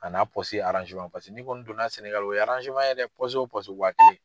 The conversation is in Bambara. A n'a paseke n'i ko don na sɛnɛgali o ye ye dɛ wa kelen.